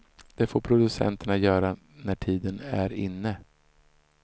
Det får producenterna göra när tiden är inne.